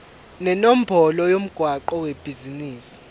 nenombolo yomgwaqo webhizinisi